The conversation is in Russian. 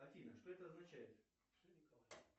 афина что это означает